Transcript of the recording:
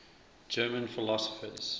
german philosophers